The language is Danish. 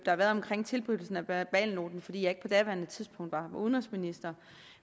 har været omkring tilblivelsen af verbalnoten fordi jeg ikke på daværende tidspunkt var udenrigsminister